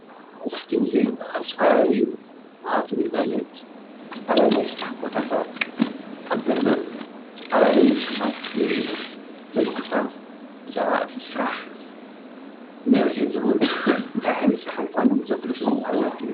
መብዛሕቲኡ ጊዜ ኣብዚ ኸባቢ ወሃብቲ ግልጓሎት ጣብያ ናይ ሥራሕ ቦታታት ኣብ በሪ ዝተፈላለዩ ጽሕፋት ንርኢ ኢና እዞም ጽሕፋት ብዛዕባ እቲ ሥራሕ መብርሂ ዝህቡን እንታይ ዓይነት ሥራሕ ምዃኑን ዘፍልጡ